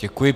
Děkuji.